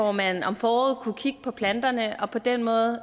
at man om foråret kunne kigge på planterne og på den måde